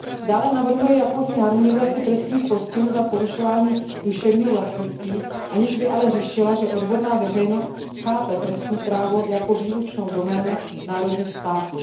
Dále navrhuje jakousi harmonizaci trestních postihů za porušování duševního vlastnictví, aniž by ale řešila, že odborná veřejnost chápe trestní právo jako výlučnou doménu členských států.